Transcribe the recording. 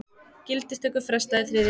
Gildistöku frestað í þriðja sinn